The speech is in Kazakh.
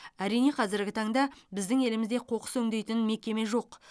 әрине қазіргі таңда біздің елімізде қоқыс өңдейтін мекеме жоқ